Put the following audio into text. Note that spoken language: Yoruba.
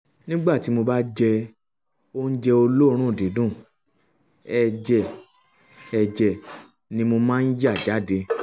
nígbà tí mo bá jẹ oúnjẹ um olóòórùn dídùn um ẹ̀jẹ̀ ẹ̀jẹ̀ ni mo máa ń yà um jáde